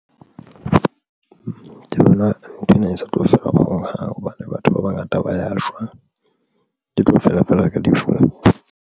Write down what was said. Ke bona nthwena e sa tlo fela hohang hobane batho ba bangata ba ya shwa. E tlo fela feela ka difounu.